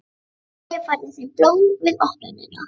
Og ég færði þeim blóm við opnunina.